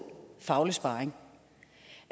faglig sparring